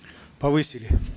повысили